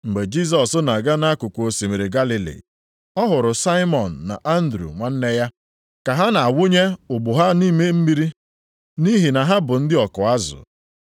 Mgbe Jisọs na-aga nʼakụkụ osimiri Galili, ọ hụrụ Saimọn na Andru nwanne ya, ka ha na-awụnye ụgbụ ha nʼime mmiri nʼihi na ha bụ ndị ọkụ azụ.